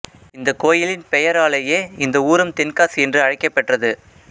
இந்த கோயிலின் பெயராலேயே இந்த ஊரும் தென்காசி என்று அழைக்கப்பெற்றது